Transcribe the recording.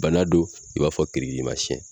Bana don i b'a fɔ kirikirimasiyɛn.